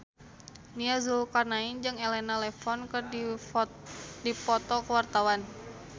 Nia Zulkarnaen jeung Elena Levon keur dipoto ku wartawan